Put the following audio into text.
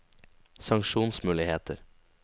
sanksjonsmuligheter